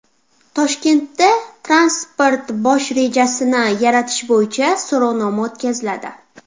Toshkentda transport bosh rejasini yaratish bo‘yicha so‘rovnoma o‘tkaziladi.